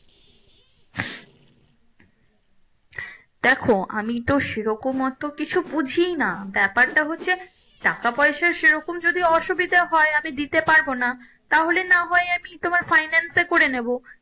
দেখো আমিতো সেরকম অত কিছু বুঝাইনা ব্যাপারটা হচ্ছে টাকা পয়সার সেরকম যদি অসুবিধা হয় আমি দিতে পারবো না তাহলে না হয় আমি না হয় finance এ করে নেবো।